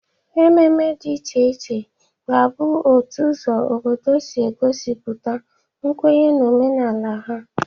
Ememe dị iche iche ga-abụ otu ụzọ obodo si egosipụta nkwenye na omenala ha.